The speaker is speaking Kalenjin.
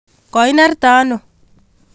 Koinerte ano?